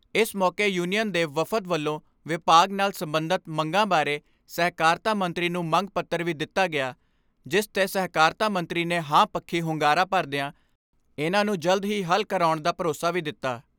ਇਸ ਮੌਕੇ ਯੂਨੀਅਨ ਦੇ ਵਫਦ ਵੱਲੋਂ ਵਿਭਾਗ ਨਾਲ ਸਬੰਧਤ ਮੰਗਾਂ ਬਾਰੇ ਸਹਿਕਾਰਤਾ ਮੰਤਰੀ ਨੂੰ ਮੰਗ ਪੱਤਰ ਵੀ ਦਿੱਤਾ ਗਿਆ ਜਿਸ ' ਤੇ ਸਹਿਕਾਰਤਾ ਮੰਤਰੀ ਨੇ ਹਾਂ ਪੱਖੀ ਹੁੰਗਾਰਾ ਭਰਦਿਆਂ ਇਨ੍ਹਾਂ ਨੂੰ ਜਲਦ ਹੀ ਹੱਲ ਕਰਾਉਣ ਦਾ ਭਰੋਸਾ ਵੀ ਦਿੱਤਾ।